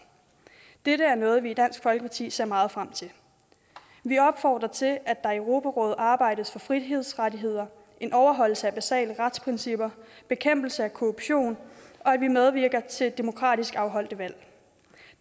dette er noget vi i dansk folkeparti ser meget frem til vi opfordrer til at der i europarådet arbejdes for frihedsrettigheder en overholdelse af basale retsprincipper bekæmpelse af korruption og at vi medvirker til demokratisk afholdte valg